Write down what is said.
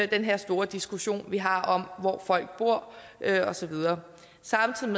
den her store diskussion vi har om hvor folk bor og så videre samtidig